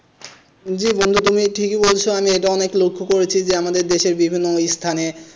জি বন্ধু তুমি ঠিকই বলছ আমি এটা অনেক লক্ষ করেছি যে আমাদের দেশের বিভিন্ন স্থানে,